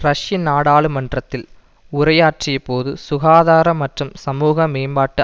ரஷ்ய நாடாளுமன்றத்தில் உரையாற்றிய போது சுகாதார மற்றும் சமூக மேம்பாட்டு